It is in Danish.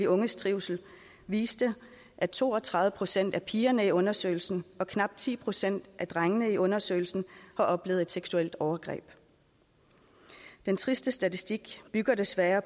unges trivsel viste at to og tredive procent af pigerne i undersøgelsen og knap ti procent af drengene i undersøgelsen har oplevet et seksuelt overgreb den triste statistik har desværre